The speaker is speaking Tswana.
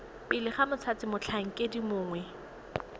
pele ga mothati motlhankedi mongwe